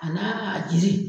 A na a jiri.